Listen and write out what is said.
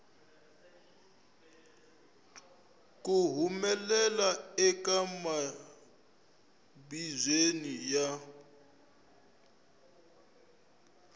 ku humelela eka mimbuyelo ya